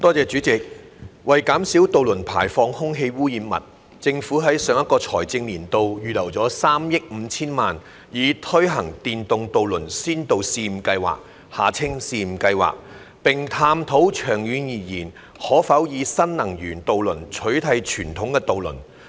主席，為減少渡輪排放空氣污染物，政府於上一個財政年度預留了3億 5,000 萬元，以推行電動渡輪先導試驗計劃，並探討長遠而言可否以新能源渡輪取替傳統渡輪。